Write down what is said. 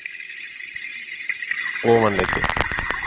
Ofanleiti